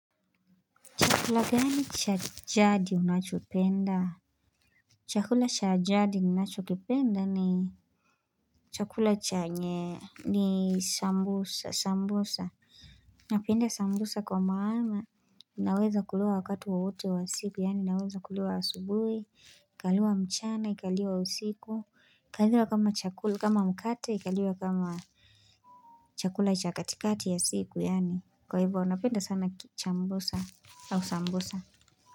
Chakula gani cha jadi unachopenda? Chakula cha jadi ninachokipenda ni chakula chenye ni sambusa, sambusa. Napenda sambusa kwa maana. Naweza kuliwa wakati wowote wa siku, yaani naweza kuliwa asubuhi, kaliwa mchana, kaliwa usiku, kaliwa kama chakula, kama mkate, kaliwa kama chakula cha katikati ya siku, yaani kwa hivyo napenda sana chambusa au sambusa.